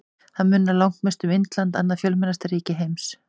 Þar munar langmest um Indland, annað fjölmennasta ríki heims.